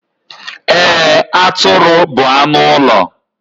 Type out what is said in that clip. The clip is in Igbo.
Eee, Atụrụ bu anụ ụlọ